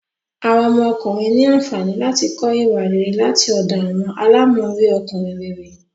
Awọn ọmọkùnrin ní ànfàní láti kọ ìwà rere láti ọdọ awọn àlámọrí Ọkùnrin réré